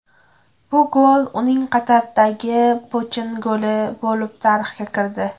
Bu gol uning Qatardagi pochin goli bo‘lib tarixga kirdi.